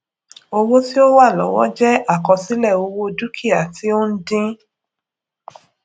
owó ti o wa lọwọ jẹ àkọsílẹ owó dukia ti o ń dín